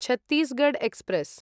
Chhattisgarh express